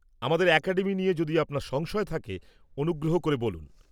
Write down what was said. আমাদের অ্যাকাডেমি নিয়ে যদি আপনার সংশয় থাকে, অনুগ্রহ করে বলুন।